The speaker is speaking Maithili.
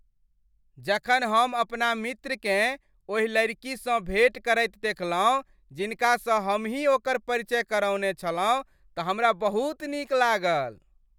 जखन हम अपना मित्रकेँ ओहि लड़कीसँ भेट करैत देखलहुँ जिनकासँ हमहि ओकर परिचय करौने छलहुँ तऽ हमरा बहुत नीक लागल।